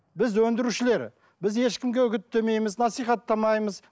біз өндірушілер біз ешкімге үгіттемейміз насихаттамаймыз